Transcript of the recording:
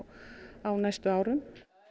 á næstu árum